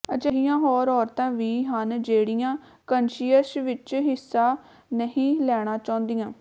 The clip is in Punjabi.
ਅਜਿਹੀਆਂ ਹੋਰ ਔਰਤਾਂ ਵੀ ਹਨ ਜਿਹੜੀਆਂ ਕੈਂੱਨਸ਼ੀਅਸ ਵਿਚ ਹਿੱਸਾ ਨਹੀਂ ਲੈਣਾ ਚਾਹੁੰਦੀਆਂ